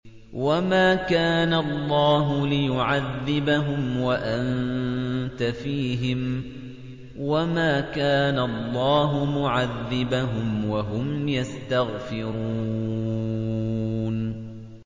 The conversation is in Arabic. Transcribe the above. وَمَا كَانَ اللَّهُ لِيُعَذِّبَهُمْ وَأَنتَ فِيهِمْ ۚ وَمَا كَانَ اللَّهُ مُعَذِّبَهُمْ وَهُمْ يَسْتَغْفِرُونَ